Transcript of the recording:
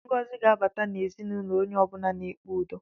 Ngọzi ga-abata n'ezinụlọ onye ọ bụla na-ekpe udo